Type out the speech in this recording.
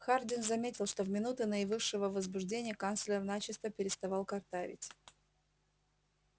хардин заметил что в минуты наивысшего возбуждения канцлер начисто переставал картавить